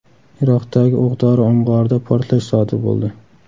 Iroqdagi o‘q-dori omborida portlash sodir bo‘ldi.